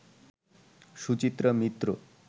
Suchitra Mitra